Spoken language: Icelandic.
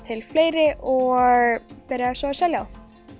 til fleiri og byrjaði svo að selja þá